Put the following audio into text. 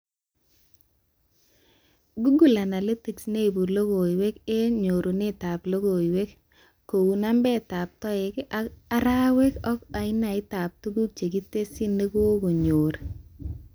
Google Analytics neibu logoiwek eng nyorunetab logoiwek, keu nambetab toek eng arawet ak ainaitab tuguk chekitesyi nekokenyoru